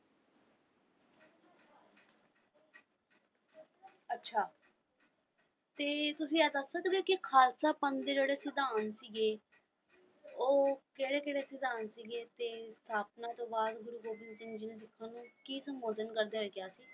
ਅੱਛਾ ਤੇ ਤੁਸੀਂ ਇਹ ਦੱਸ ਸਕਦੇ ਹੋ ਕਿ ਖ਼ਾਲਸਾ ਪੰਥ ਦੇ ਜਿਹੜੇ ਸਿਧਾਂਤ ਸੀਗੇ ਉਹ ਕਿਹੜੇ ਕਿਹੜੇ ਸਿਧਾਂਤ ਸੀਗੇ ਤੇ ਸਥਾਪਨਾ ਤੋਂ ਬਾਅਦ ਗੁਰੂ ਗੋਬਿੰਦ ਸਿੰਘ ਜੀ ਨੇ ਕੀ ਸੰਬੋਧਨ ਕਰਦੇ ਹੋਏ ਕਿਹਾ ਸੀ।